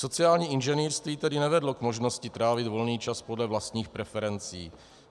Sociální inženýrství tedy nevedlo k možnosti trávit volný čas podle vlastních preferencí.